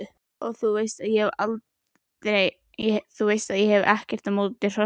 Og þú veist að ég hef ekkert á móti hrossum.